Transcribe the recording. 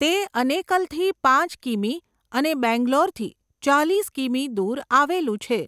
તે અનેકલથી પાંચ કિમી અને બેંગ્લોરથી ચાલીસ કિમી દૂર આવેલું છે.